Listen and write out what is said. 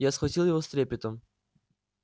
я схватил его с трепетом